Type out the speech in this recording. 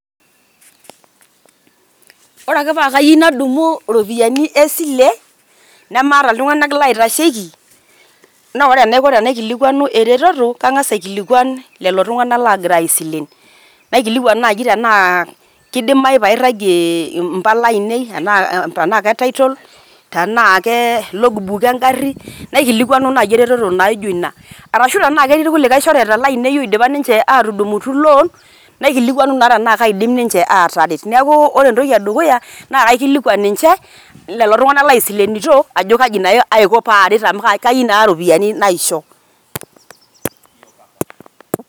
Ore ake paake ayeu nadumu iropiani e sile nemaata iltung'anak laitasheki naa ore enaiko tenaikilikuanu ereteto kang'asa aikilikuan lelo tung'anak lagira aisilen. Naikilikuan naaji anaa kidimayu pairagie impala ainei tenaake title, tenaake logbook e ng'ari, naikilikuanu naji eretoto naijo ina. Arashu tenaake etii irkulie shoreta lainei oidipa ninje atudumutu loan, naikilikuanu naa tenaake aidim ninje ataret. Neeku ore entoki e dukuya naa kaikilikuan ninje lelo tung'anak laisilenito ajo kaji naa aiko paaret amu kayeu naa iropiani naisho.